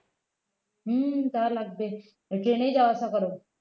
হম তা লাগবে train এই যাওয়া আসা করো